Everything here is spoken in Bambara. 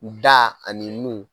Da ani nun